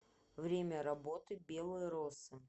время работы белые росы